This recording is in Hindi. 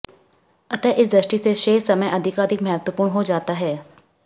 अतः इस दृष्टि से शेष समय अधिकाधिक महत्वपूर्ण हो जाता है